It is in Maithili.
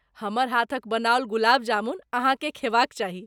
हमर हाथक बनाओल गुलाब जामुन अहाँकेँ खेबाक चाही।